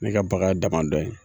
Ne ka bagan ye damadɔ ye.